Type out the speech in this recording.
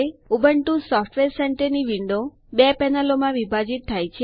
Ubuntu software સેન્ટરની window બે પેનલો માં વિભાજિત થાય છે